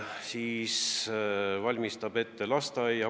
Omavalitsus peab ülal lasteaeda.